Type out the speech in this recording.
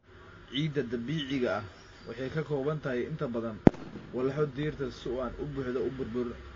Ciidda dabiiciga ah waxay ka kooban tahay inta badan walxo dhirta oo aan si buuxda u burburin.